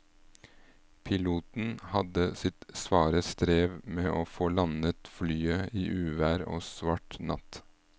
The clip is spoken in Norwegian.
Piloten hadde sitt svare strev med å få landet flyet i uvær og svart natt.